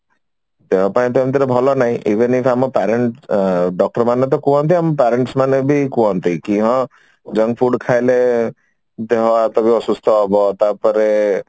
ଦେହ ପାଇଁ ଟା ଏମିତିରେ ଭଲ ନାଇଁ even if ଆମ parents doctor ମାନେ ତ କୁହନ୍ତି ଆମ parents ମାନେ ବି କୁହନ୍ତି କି ହଁ junk food ଖାଇଲେ କି ହଁ ଦେହ ହାତ ବି ଅସୁସ୍ଥ ହବ ତାପରେ